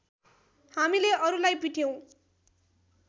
हामीले अरूलाई पिट्यौँ